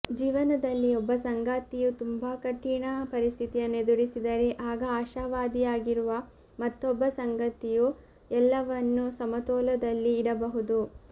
ಜೀವನದಲ್ಲಿ ಒಬ್ಬ ಸಂಗಾತಿಯು ತುಂಬಾ ಕಠಿಣ ಪರಿಸ್ಥಿತಿಯನ್ನು ಎದುರಿಸಿದರೆ ಆಗ ಆಶಾವಾದಿಯಾಗಿರುವ ಮತ್ತೊಬ್ಬ ಸಂಗಾತಿಯು ಎಲ್ಲವನ್ನು ಸಮತೋಲದಲ್ಲಿ ಇಡಬಹುದು